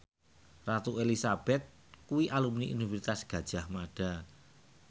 Ratu Elizabeth kuwi alumni Universitas Gadjah Mada